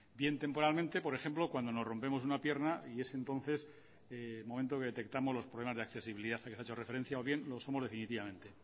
bien temporalmente por ejemplo cuando nos rompemos una pierna y es entonces el momento que detectamos los problemas de accesibilidad a los que he hecho referencia o bien lo somos definitivamente